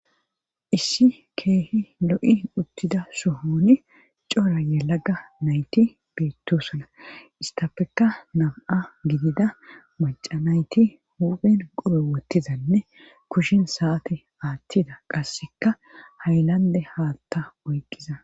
Issi keehi lo7i uttida sohoni cora yalaga nayti beettosola istafeka nab7a gidida maca nayti huphen qobe wottizanne kushin saati aathtida qasseka haylande haatta oyqqiza